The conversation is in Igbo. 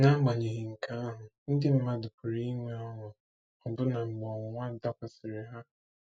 N'agbanyeghị nke ahụ, ndị mmadụ pụrụ inwe ọṅụ, ọbụna mgbe ọnwụnwa dakwasịrị ha.